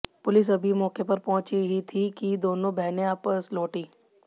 police अभी मौके पर पहुंची ही थी कि दोनों बहनें वापस लौटीं